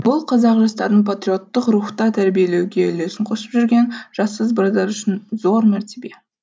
бұл қазақ жастарын патриоттық рухта тәрбиелеуге үлесін қосып жүрген жас сарбаздар үшін зор мәртебе